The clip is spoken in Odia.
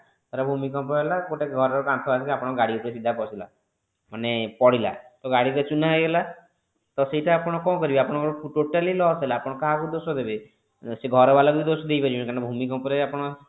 ଧର ଭୂମିକମ୍ପ ହେଲା ଘରର ଗୋଟେ ଘର କାନ୍ଥ ଆସି ଆପଣଙ୍କ ଗାଡି ଉପରେ ସିଧା ପସିଲା ମାନେ ପଡିଲା ତ ଗାଡି ତ ଚୂନା ହେଇଗଲା ତ ସେଇଟା ଆପଣ କଣ କରିବେ ଆପଣ ଙ୍କ totally loss ହେଲା ଆପଣ କାହାକୁ ଦୋଷ ଦେବେ? ସେ ଘର ବାଲା ଙ୍କୁ ବି ଦୋଷ ଦେଇପାରିବେନି କାରଣ ଭୂମିକମ୍ପ ରେ ଆପଣ